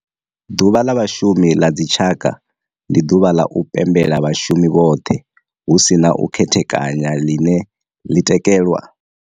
Ḓuvha la Vhashumi la dzi tshaka, ndi duvha la u pembela vhashumi vhothe hu si na u khethekanya line li tikedzwa nga tshigwada tsha vhashumi futhi li vha hone nwaha munwe na munwe nga duvha la u thoma 1 la Shundunthule kana musumbulowo wa u thoma kha uyo nwedzi.